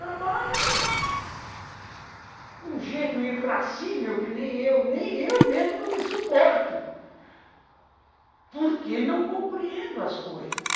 Trabalho de um gênio irascível que nem eu, nem eu mesmo não me suporto, porque não compreendo as coisas.